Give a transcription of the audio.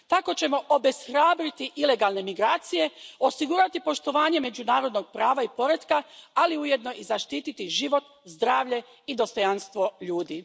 Tako ćemo obeshrabriti ilegalne migracije, osigurati poštovanje međunarodnog prava i poretka, ali ujedno i zaštititi život, zdravlje i dostojanstvo ljudi.